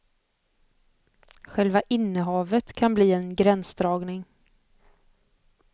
Själva innehavet kan bli en gränsdragning.